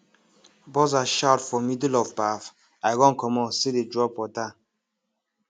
buzzer shout for middle of baff i run commot still dey drop water